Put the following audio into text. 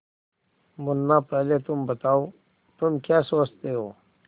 मुन्ना पहले तुम बताओ तुम क्या सोचते हो